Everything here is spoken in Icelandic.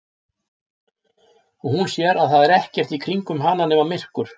Og hún sér að það er ekkert í kringum hana nema myrkur.